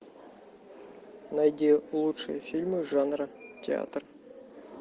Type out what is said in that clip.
найди лучшие фильмы жанра театр